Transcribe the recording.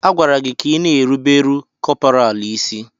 A gwara gị ka ịna-erubere kọpọraalụ isí!